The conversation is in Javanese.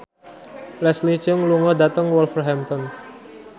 Leslie Cheung lunga dhateng Wolverhampton